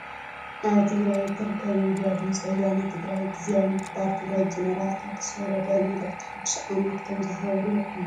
ኣብ ትግራይ እትርከብ ሚድያ ድምፂ ወያኔ ትግራይ ግዝያዊ ምምሕዳር ትግራይ ጀነራል ታደሰ ወረደ መልእክቲ ሓድሽ ዓመት ከምዝሃቡ ሪኢኩም ዶ ?